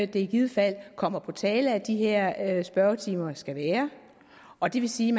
det i givet fald kommer på tale at de her spørgetimer skal være og det vil sige